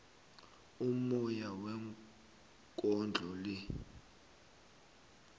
ummoya wekondlo le